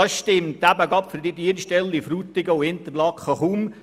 Für die Dienststellen Interlaken und Frutigen stimmt dies kaum.